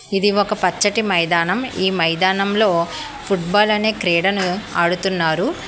ఇది ఒక పచ్చటి మైదానం ఈ మైదానం లో ఫుట్ బాల్ అనే క్రీడను ఆడుతున్నారు.